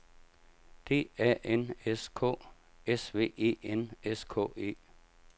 D A N S K S V E N S K E